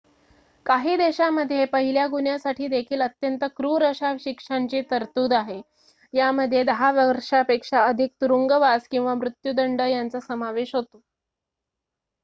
काही देशामध्ये पहिल्या गुन्ह्यासाठी देखील अत्यंत क्रूर अशा शिक्षांची तरतूद आहे यामध्ये 10 वर्षापेक्षा अधिक तुरुंगवास किंवा मृत्युदंड यांचा समावेश होतो